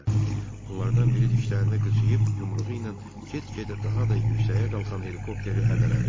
Onlardan biri dişlərini qıcıyıb yumruğu ilə get-gedə daha da yüksəyə qalxan helikopteri hədələdi.